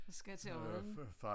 Og skal til Odden